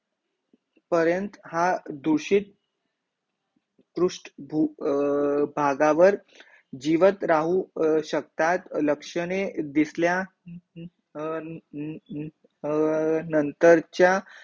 पर्यंत हा दूषित अह अं रुष्ट अर भागावर जिवंत राहू शकतात, अह लक्षणे दिसल्या अह अह नंतर चा